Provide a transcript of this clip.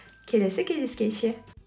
келесі кездескенше